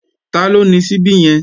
Taló ni ṣíbí yẹn?